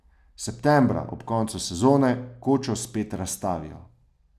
Septembra, ob koncu sezone, kočo spet razstavijo.